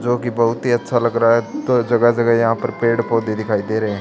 जोकि बहुत ही अच्छा लग रहा है तो जगह जगह यहां पर पेड़ पौधे दिखाई दे रहे--